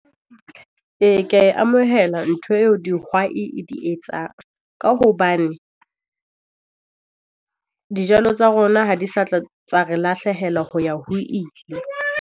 Ee, ke a e amohela ntho eo dihwai e di etsang. Ka hobane dijalo tsa rona ha di sa tla tsa re lahlehela ho ya ho ile.